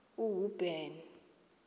uhuben